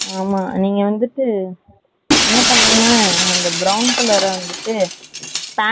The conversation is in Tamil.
ஆமா, நீங்க வந்துட்டு என்ன பண்ணுங்க brown color ஆ வந்துட்டு, pant .